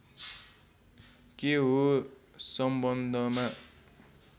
के हो सम्बन्धमा